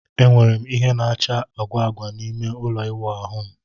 Enwere m ìhè na-acha agwa agwa n'ime ụlọ ịwụ ahu m.